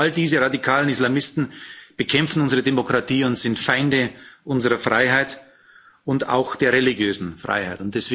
All diese radikalen Islamisten bekämpfen unsere Demokratie und sind Feinde unserer Freiheit auch der religiösen Freiheit.